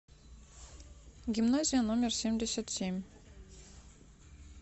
гимназия номер семьдесят семь